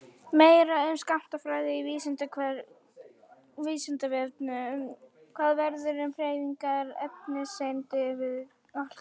Meira um skammtafræði á Vísindavefnum: Hvað verður um hreyfingar efniseinda við alkul?